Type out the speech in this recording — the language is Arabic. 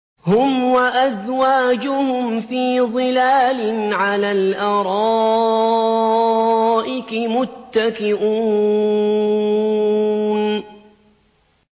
هُمْ وَأَزْوَاجُهُمْ فِي ظِلَالٍ عَلَى الْأَرَائِكِ مُتَّكِئُونَ